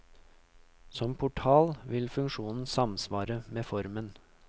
Som portal vil funksjonen samsvare med formen.